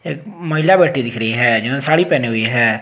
एक महिला बैठी दिख रही है जो साड़ी पहने हुई है।